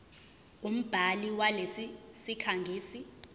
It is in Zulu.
umbhali walesi sikhangisi